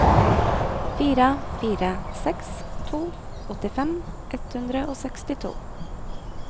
fire fire seks to åttifem ett hundre og sekstito